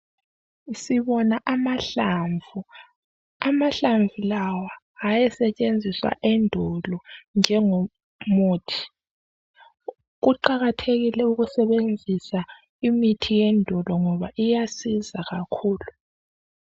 Sibona amahlamvu, amahlamvu lawa hayesetshenziswa endulo njengo muthi kuqakathekile ukusebenzisa imithi yendulo ngoba iyasiza kakhulu.